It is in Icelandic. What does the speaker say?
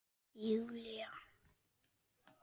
Hélt Júlía.